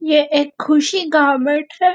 ये एक ख़ुशी गारमेंट है।